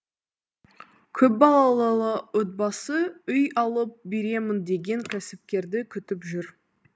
көпбалалы отбасы үй алып беремін деген кәсіпкерді күтіп жүр